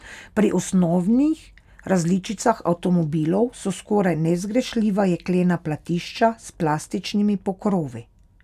Pri osnovnih različicah avtomobilov so skoraj nezgrešljiva jeklena platišča s plastičnimi pokrovi.